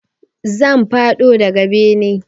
Zan faɗo daga bene